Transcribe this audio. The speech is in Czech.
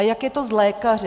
A jak je to s lékaři?